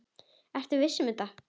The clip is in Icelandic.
Ertu viss um þetta?